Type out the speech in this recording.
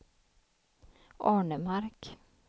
Arnemark